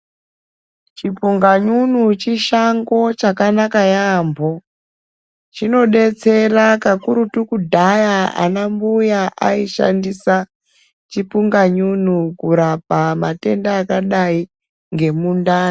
Chipunganyunyu chishango chakanaka yambho chinodetsera kakurutu kudhaya ana mbuya aishandisa kurapa matenda akadai ngemundani